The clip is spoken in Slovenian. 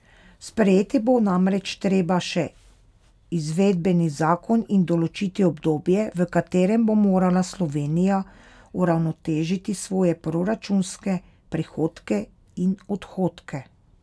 Sprejeti bo namreč treba še izvedbeni zakon in določiti obdobje, v katerem bo morala Slovenija uravnotežiti svoje proračunske prihodke in odhodke.